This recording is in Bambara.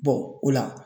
o la